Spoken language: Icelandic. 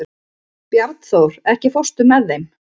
Bjarnþór, ekki fórstu með þeim?